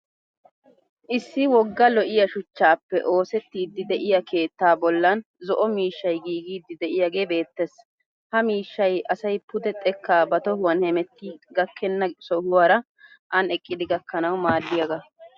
Issi wogga lo'iya shuchchaappe oosettiddi de'iya keettaa boolan. zo'o miishshay giigiiddi de'iyagee beettes. Ha miishshay asay pude xekka ba tohuwan hemettiya gakkenna sohuwaara an eqqidi gakkanawu maaddiyaagaa.